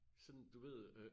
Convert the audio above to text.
Sådan du ved øh